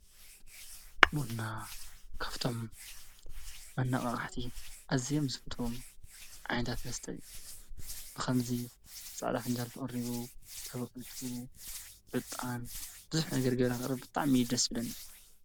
ቡና ካፍቶም ኣናቃቃሕቲ ኣዝዮም ዝፍተውም ዓይነታት መስተ እዩ፣ ፃዕዳ ፍንጃል ተቀሪቡ፣ ተወቂጡ ፣ዕጣን ብዙሕ ነገር ብጣዕሚ እዩ ደስ ዝብለኒ።